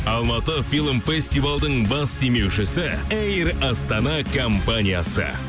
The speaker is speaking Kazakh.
алматы фильм фестивалдың бас демеушісі эйр астана компаниясы